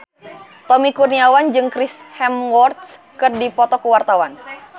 Tommy Kurniawan jeung Chris Hemsworth keur dipoto ku wartawan